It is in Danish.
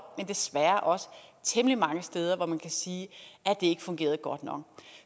men desværre også temmelig mange steder hvor man kan sige at det ikke fungerede godt nok